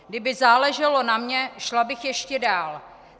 Kdyby záleželo na mně, šla bych ještě dál.